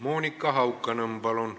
Monika Haukanõmm, palun!